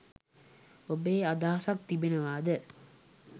ඔබේ අදහසක් තිබෙනවාද?